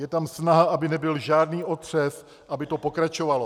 Je tam snaha, aby nebyl žádný otřes, aby to pokračovalo.